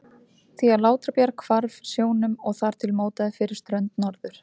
því að Látrabjarg hvarf sjónum og þar til mótaði fyrir strönd Norður-